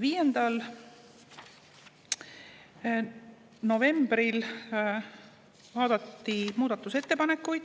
5. novembril vaadati muudatusettepanekuid,